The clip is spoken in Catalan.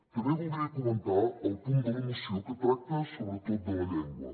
també voldria comentar el punt de la moció que tracta sobretot de la llengua